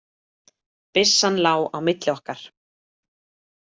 Byssan lá á milli okkar.